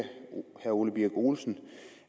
herre ole birk olesen